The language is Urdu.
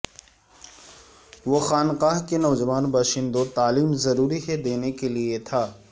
وہ خانقاہ کے نوجوان باشندوں تعلیم ضروری ہے دینے کے لئے تھا